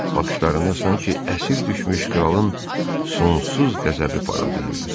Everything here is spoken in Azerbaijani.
Baxışlarında sanki əsir düşmüş kralın sonsuz qəzəbi parıldayırdı.